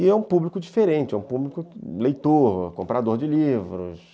E é um público diferente, é um público leitor, comprador de livros.